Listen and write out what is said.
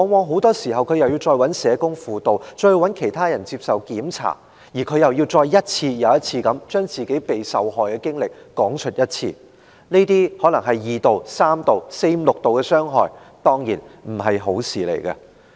很多時他要再尋求社工輔導，再接受檢查，而且，他還要一次又一次地講述自己的受害經歷，這些可能是二度、三度甚至是四五六度的傷害，當然不是好事。